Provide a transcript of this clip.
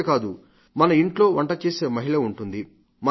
ఇంతేకాదు మన ఇంట్లో వంటచేసే మహిళ ఉంటుంది